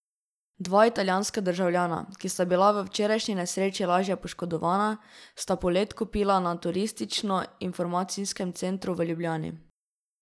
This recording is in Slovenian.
Dva italijanska državljana, ki sta bila v včerajšnji nesreči lažje poškodovana, sta polet kupila na Turistično informacijskem centru v Ljubljani.